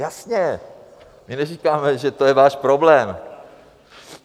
Jasně, my neříkáme, že je to váš problém.